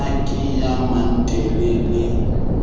na ke ya mannte le